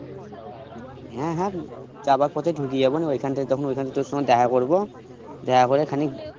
হুম হুম যাবার পথে ঢুকিয়াব নিয়ে ওখানটায় তখন ওখানে তখনে তোর সাথে দেখা করবো দেখা করে খানিক